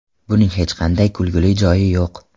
Buning hech qanday kulguli joyi yo‘q.